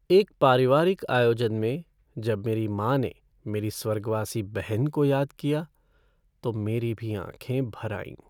एक पारिवारिक आयोजन में जब मेरी माँ ने मेरी स्वर्गवासी बहन को याद किया तो मेरी भी आँखें भर आईं।